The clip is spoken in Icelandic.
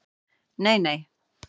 Nei nei!